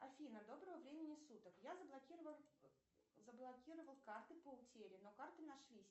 афина доброго времени суток я заблокировал карты по утере но карты нашлись